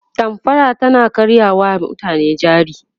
damfara tana karya wa mutane jari